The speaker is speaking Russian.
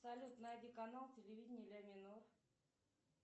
салют найди канал телевидения ля минор